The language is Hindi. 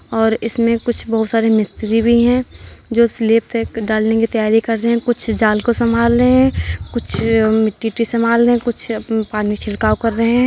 और इसमें कुछ बहोत सारे मिस्त्री भी हैं जो स्लिप तक डालने की तैयारी कर रहे हैं। कुछ जाल को संभाल रहे हैं कुछ मिट्टी वित्ती संभाल रहे हैं कुछ पानी छिड़काव कर रहे हैं।